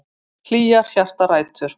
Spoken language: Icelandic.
Hlýjar hjartarætur.